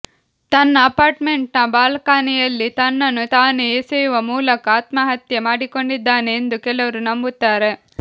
ತನ್ನ ಅಪಾರ್ಟ್ಮೆಂಟ್ನ ಬಾಲ್ಕನಿಯಲ್ಲಿ ತನ್ನನ್ನು ತಾನೇ ಎಸೆಯುವ ಮೂಲಕ ಆತ್ಮಹತ್ಯೆ ಮಾಡಿಕೊಂಡಿದ್ದಾನೆ ಎಂದು ಕೆಲವರು ನಂಬುತ್ತಾರೆ